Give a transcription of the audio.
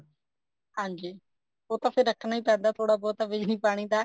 ਹਾਂਜੀ ਉਹ ਤਾਂ ਫ਼ੇਰ ਰੱਖਣਾ ਹੀ ਪੈਂਦਾ ਥੋੜਾ ਬਹੁਤਾ ਬਿਜਲੀ ਪਾਣੀ ਦਾ